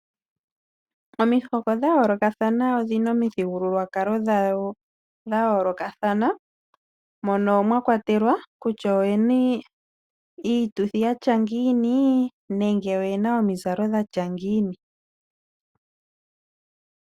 Omihoko dhayoolokathana odhina omithigululwakalo dhawo dhayoolokathana moka mwakwatelwa kutya oyena iituthi yatya ngini nenge oyena omizalo dhatya ngini.